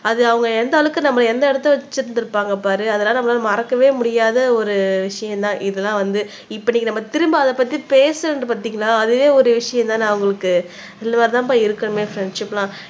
அது அவங்க எந்த அளவுக்கு நம்ம எந்த இடத்தில வச்சிருந்திருப்பாங்க பாரு அதனால நம்மளால மறக்கவே முடியாத ஒரு விஷயம் தான் இதெல்லாம் வந்து இப்படி நம்ம திரும்ப அத பத்தி பேசுறது பாத்தீங்களா அதுவே ஒரு விஷயம் தானே அவங்களுக்கு இந்த மாறி தான்பா இருக்கணுமே ஃப்ரண்ட்ஷிப் எல்லாம்